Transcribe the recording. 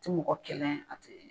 Tɛ mɔgɔ kɛlɛn a tɛ